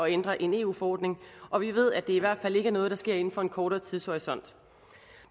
ændre en eu forordning og vi ved at det i hvert fald ikke er noget der sker inden for en kortere tidshorisont